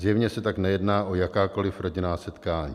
Zjevně se tak nejedná o jakákoliv rodinná setkání.